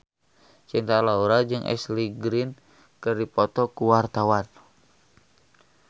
Cinta Laura jeung Ashley Greene keur dipoto ku wartawan